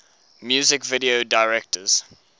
music video directors